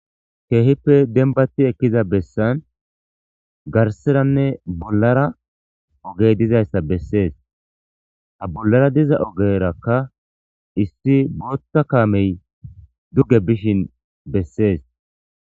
Keehippe dembbatti eekiza bessan garsseranne bollara oogey dizayssa besses ha bollara diza oogarakka issi boththa kaamey duuge bishin beses